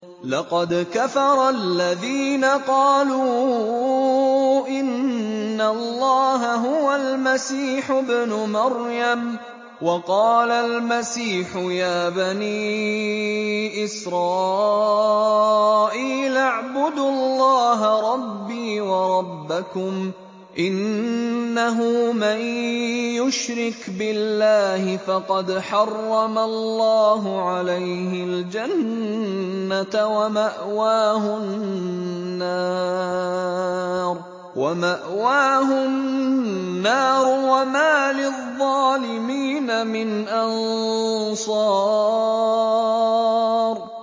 لَقَدْ كَفَرَ الَّذِينَ قَالُوا إِنَّ اللَّهَ هُوَ الْمَسِيحُ ابْنُ مَرْيَمَ ۖ وَقَالَ الْمَسِيحُ يَا بَنِي إِسْرَائِيلَ اعْبُدُوا اللَّهَ رَبِّي وَرَبَّكُمْ ۖ إِنَّهُ مَن يُشْرِكْ بِاللَّهِ فَقَدْ حَرَّمَ اللَّهُ عَلَيْهِ الْجَنَّةَ وَمَأْوَاهُ النَّارُ ۖ وَمَا لِلظَّالِمِينَ مِنْ أَنصَارٍ